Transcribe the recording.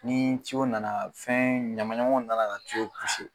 Ni nana fɛn ɲaman ɲamanw d'a la ka